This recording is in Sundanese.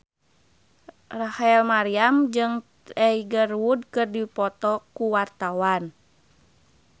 Rachel Maryam jeung Tiger Wood keur dipoto ku wartawan